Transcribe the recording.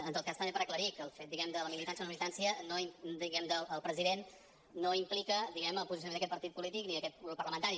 en tot cas també per aclarir que el fet diguem ne de la militància o no militància del president no implica el posicionament d’aquest partit polític ni d’aquest grup parlamentari